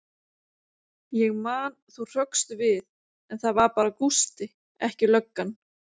Ég man þú hrökkst við, en það var bara Gústi, ekki löggan.